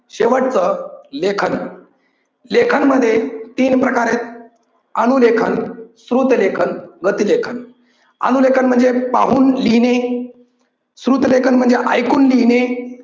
शेवटचं लेखन. लेखन मध्ये तीन प्रकार आहेत. अनु लेखन, श्रुत लेखन, गती लेखन. अनु लेखन म्हणजे पाहून लिहिणे, श्रुत लेखन म्हणजे ऐकून लिहिणे